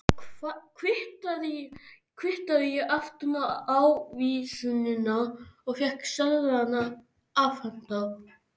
Þar kvittaði ég aftan á ávísunina og fékk seðlana afhenta.